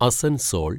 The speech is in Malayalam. അസൻസോൾ